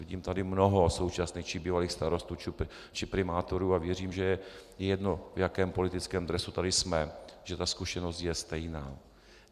Vidím tady mnoho současných či bývalých starostů či primátorů a věřím, že je jedno, v jakém politickém dresu tady jsme, že ta zkušenost je stejná.